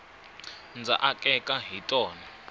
ndza akeka hi tona